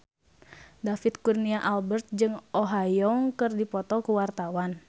David Kurnia Albert jeung Oh Ha Young keur dipoto ku wartawan